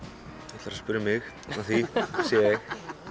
þú ætlar að spyrja mig að því sé ég